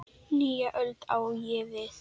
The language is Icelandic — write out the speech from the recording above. Nýja öld, á ég við.